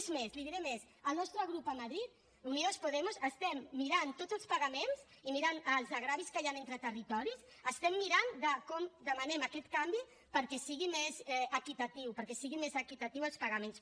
és més li diré més el nostre grup a madrid unidos podemos estem mirant tots els pagaments i mirant els greuges que hi han entre territoris estem mirant com demanem aquest canvi perquè sigui més equitatiu perquè siguin més equitatius els pagaments